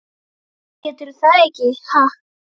Geturðu það ekki, ha?